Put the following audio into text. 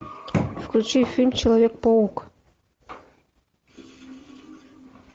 включи фильм человек паук